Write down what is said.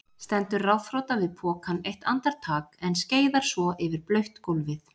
Stendur ráðþrota við pokann eitt andartak en skeiðar svo yfir blautt gólfið.